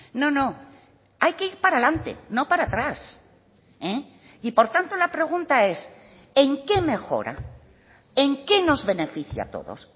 no no hay que ir para adelante no para atrás y por tanto la pregunta es en qué mejora en qué nos beneficia a todos